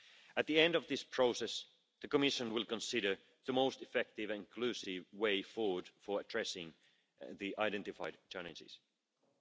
At the end of this process, the Commission will consider the most effective and inclusive way forward for addressing the identified challenges.